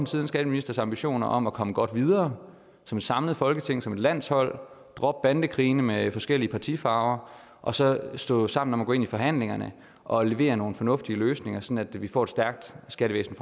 siddende skatteministers ambitioner om at komme godt videre som et samlet folketing som et landshold dropper bandekrigene mellem forskellige partifarver og så står sammen om at gå ind i forhandlingerne og levere nogle fornuftige løsninger sådan at vi fremover får et stærkt skattevæsen